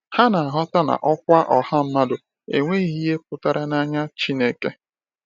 Ha na-aghọta na ọkwa ọha mmadụ enweghị ihe pụtara n’anya Chineke.